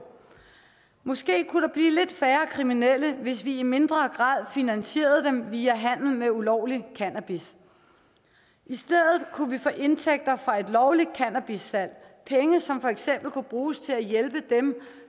måske kunne der blive lidt færre kriminelle hvis vi i mindre grad finansierede dem via deres handel med ulovlig cannabis i stedet kunne vi få indtægter fra et lovligt cannabissalg penge som for eksempel kunne bruges til at hjælpe dem